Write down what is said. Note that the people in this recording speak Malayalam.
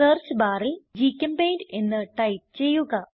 സെർച്ച് barൽ ഗ്ചെമ്പെയിന്റ് എന്ന് ടൈപ്പ് ചെയ്യുക